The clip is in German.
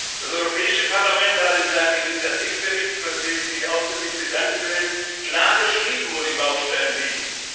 Das Europäische Parlament hat in seinem Initiativbericht für den ich mich ausdrücklich bedanken will klar beschrieben, wo die Baustellen liegen.